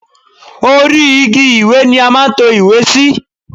Orí igi ìwé ni a máa ń to ìwé sí.